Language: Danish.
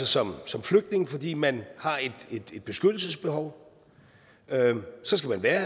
som som flygtning fordi man har et beskyttelsesbehov så skal man være